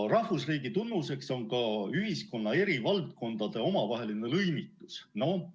Rahvusriigi tunnuseks on ka ühiskonna eri valdkondade omavaheline lõimitus.